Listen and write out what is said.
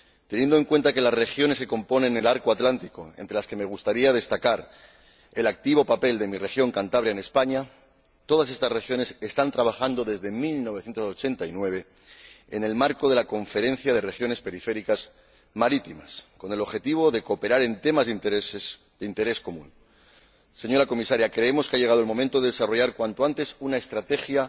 Asimismo, todas las regiones que componen el arco atlántico —entre las que me gustaría destacar el activo papel de mi región, Cantabria, en España— están trabajando desde 1989 en el marco de la Conferencia de Regiones Periféricas Marítimas con el objetivo de cooperar en temas de interés común. Señora Comisaria, creemos que ha llegado el momento de desarrollar cuanto antes una estrategia